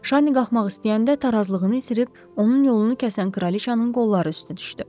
Şarni qalxmaq istəyəndə tarazlığını itirib onun yolunu kəsən kraliçanın qolları üstə düşdü.